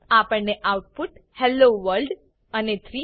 આપણને output hello world અને 3